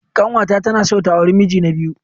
Kanwata tana son ta auri miji na biyu.